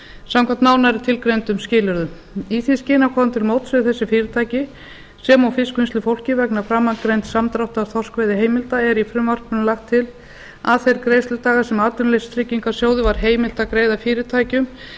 samkvæmt nánar tilgreindum skilyrðum í því skyni að koma til móts við þessi fyrirtæki sem og fiskvinnslufólkið vegna framangreinds samdráttar þorskveiðiheimilda er í frumvarpinu lagt til að þeir greiðsludagar sem atvinnuleysistryggingasjóði var heimilt er að greiða fyrirtækjum